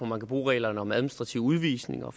man kan bruge reglerne om administrativ udvisning og